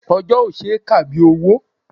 Ọjọ́ ò ṣe é kà bí owó.